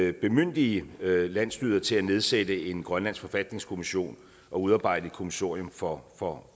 at bemyndige landsstyret til at nedsætte en grønlandsk forfatningskommission og udarbejde et kommissorium for for